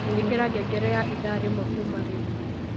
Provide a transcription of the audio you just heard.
ikira ngengere ya ithaa rimwe kuuma riu